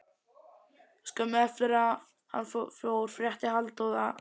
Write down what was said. Skömmu eftir að hann fór frétti Halldór að í